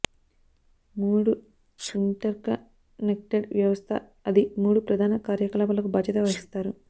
మూడు ఇంటర్కనెక్టడ్ వ్యవస్థ అది మూడు ప్రధాన కార్యకలాపాలకు బాధ్యత వహిస్తారు